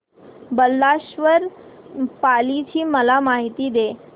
बल्लाळेश्वर पाली ची मला माहिती दे